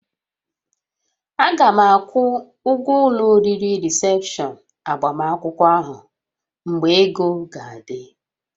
A ga m akwụ ụgwọ ụlọ oriri rịsepshọn agbamakwụkwọ ahụ mgbe ego ga-adị